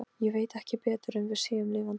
Ég veit ekki betur en við séum lifandi.